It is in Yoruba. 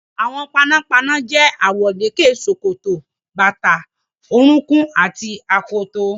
Aṣọ àwọn panápaná jẹ́ àwọ̀lékè, ṣòkòtò, bàtà orúnkún àti akoto.